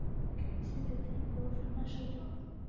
Þeir höfðu kynnt sig þegar drengurinn var farinn að sofa.